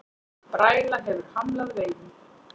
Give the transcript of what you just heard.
Bræla hefur hamlað veiðum